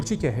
Určitě.